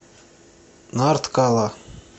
нарткала